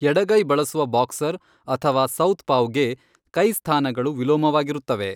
ಎಡಗೈ ಬಳಸುವ ಬಾಕ್ಸರ್ ಅಥವಾ ಸೌತ್ಪಾವ್ಗೆ, ಕೈ ಸ್ಥಾನಗಳು ವಿಲೋಮವಾಗಿರುತ್ತವೆ.